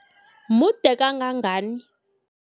Mude kangangani?